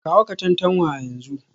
Kawo Katantanwa a yanzu